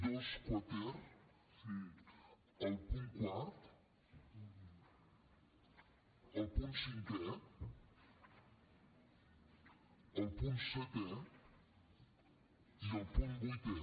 dos quater el punt quart el punt cinquè el punt setè i el punt vuitè